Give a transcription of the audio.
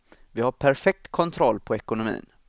Vi har perfekt kontroll på ekonomin.